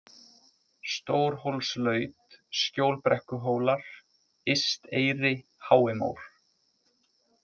Stórhólslaut, Skjólbrekkuhólar, Ysteyri, Háimór